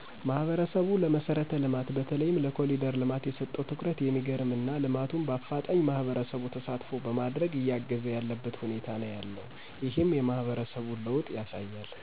ማህበረሰቡ ለመሰረት ልማት በተለይም ለኮሪደር ልማት የሰጠው ትኩረት የሚገርም እና ልማቱም በአፋጣኝ ማህበረሰቡ ተሳትፎ በማድረግ እያገዘ ያለበት ሁኔታ ነው ያለው። ይህም የማህበረሰቡን ለወጥ ያሳያል።